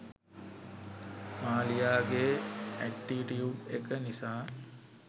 මාලියාගේ attitude එක නිසා